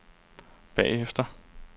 bagefter